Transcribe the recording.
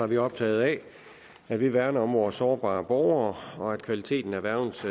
vi optaget af at vi værner om vores sårbare borgere og at kvaliteten af værgens